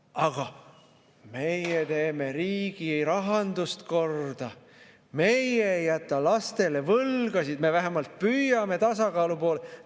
Aga meie teeme riigi rahandust korda, meie ei jäta lastele võlgasid, me vähemalt püüame tasakaalu poole.